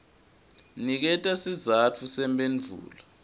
niketa sizatfu semphendvulo